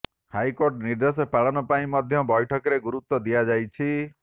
high court ନିର୍ଦ୍ଦେଶ ପାଳନ ପାଇଁ ମଧ୍ୟ ବୈଠକରେ ଗୁରୁତ୍ୱ ଦିଆଯାଇଛି